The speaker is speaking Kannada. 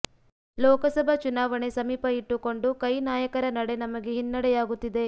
ಲೋಕಸಭಾ ಚುನಾವಣೆ ಸಮೀಪ ಇಟ್ಟುಕೊಂಡು ಕೈ ನಾಯಕರ ನಡೆ ನಮಗೆ ಹಿನ್ನಡೆಯಾಗುತ್ತಿದೆ